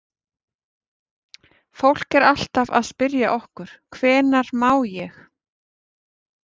Fólk er alltaf að spyrja okkur: Hvenær má ég?